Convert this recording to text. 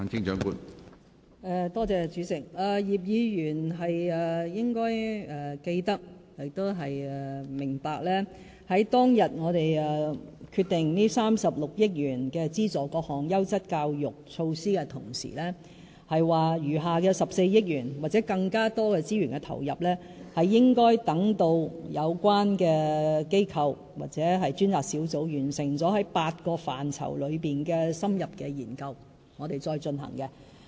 葉議員應該記得亦明白，當天我們決定動用36億元資助各項優質教育措施的同時，亦表示餘下的14億元或更多的資源投入，應該等到有關機構或專責小組完成8個範疇的深入研究後，我們才進行。